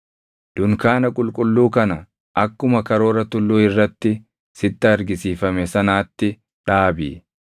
“Dunkaana qulqulluu kana akkuma karoora tulluu irratti sitti argisiifame sanaatti dhaabi.